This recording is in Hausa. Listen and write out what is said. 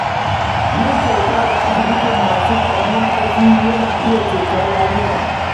Yin kyauta ga asibitin masu ƙaramin ƙarfi yana iya ceton rayuka.